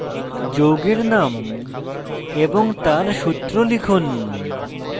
যৌগের name এবং তার সূত্র লিখুন